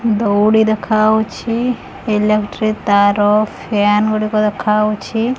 ଧଉଳି ଦେଖାଉଛି ଇଲେକ୍ଟ୍ରି ତାର ଫ୍ୟାନ୍ ଗୁଡ଼ିକ ଦେଖାଉଛି।